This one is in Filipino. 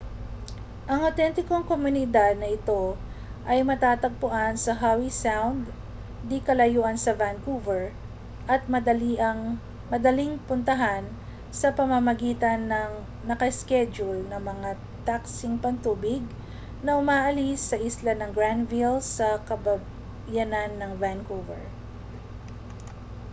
ang awtentikong komunidad na ito ay matatagpuan sa howe sound di-kalayuan sa vancouver at madaling puntahan sa pamamagitan ng naka-iskedyul na mga taksing pantubig na umaalis sa isla ng granville sa kabayanan ng vancouver